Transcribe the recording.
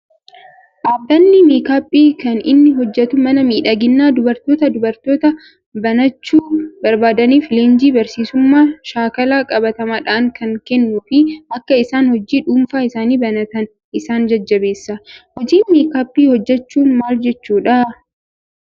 Dhaabbanni meekaappii kan inni hojjatu mana miidhaginaa dubartootaa dubartoota banachuu barbaadaniif leenjii barsiisummaa shaakala qabatamaadhaan kan kennuu fi akka isaan hojii dhuunfaa isaanii banatan isaan jajjabeessa. Hojii meekaappii hojjachuun maal jechuudha?